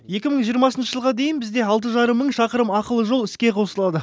екі мың жиырмасыншы жылға дейін бізде алты жарым мың шақырым ақылы жол іске қосылады